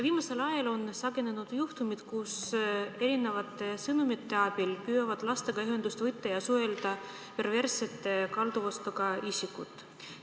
Viimasel ajal on sagenenud juhtumid, kus erinevate sõnumite abil püüavad lastega ühendust võtta ja suhelda perverssete kalduvustega isikud.